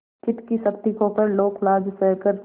चित्त की शक्ति खोकर लोकलज्जा सहकर